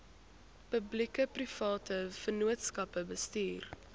publiekeprivate vennootskappe bestuur